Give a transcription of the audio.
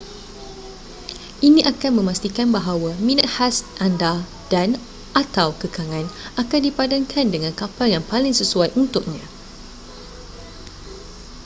ini akan memastikan bahawa minat khas anda dan/atau kekangan akan dipadankan dengan kapal yang paling sesuai untuknya